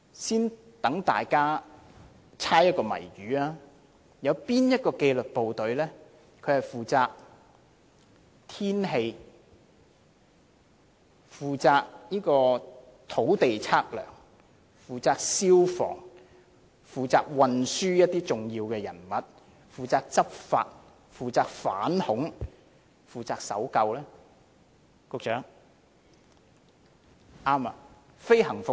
先讓大家猜謎語，哪個紀律部隊與天氣有關，負責土地測量、消防、護送一些重要人物、執法、反恐和搜救工作，局長？